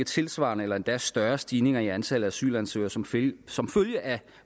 tilsvarende eller endda større stigninger i antallet af asylansøgere som følge som følge af